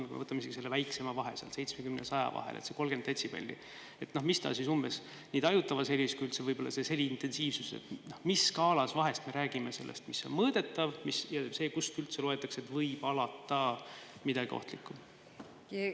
Kui me võtame isegi selle väiksema vahe, 70 ja 100 vahel, selle 30 detsibelli, mis see skaala nii tajutavas helis kui üldse sellise heliintensiivsuse puhul on, kui me räägime sellest, mis on mõõdetav, ja sellest, kust alates üldse võib olla midagi ohtlikku?